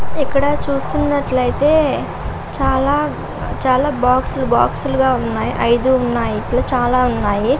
ఇస్తున్న చిత్రంలో పెద్దపెద్ద చెట్లు ఒక వాహనము చిన్న గోడ వెనకాల --